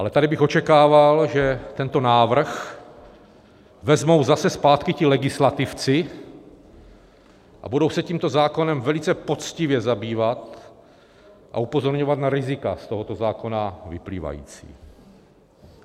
Ale tady bych očekával, že tento návrh vezmou zase zpátky ti legislativci a budou se tímto zákonem velice poctivě zabývat a upozorňovat na rizika z tohoto zákona vyplývající.